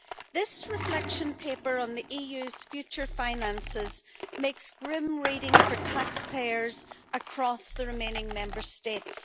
This reflection paper on the EU's future finances makes grim reading for taxpayers across the remaining Member States.